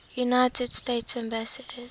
united states ambassadors